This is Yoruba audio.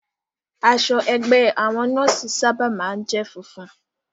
Aṣọ ẹgbẹ́ àwọn nọ́ọ̀sì sábà máa ń jẹ́ funfun